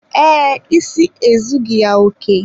Ee, isi ezughi ya oké.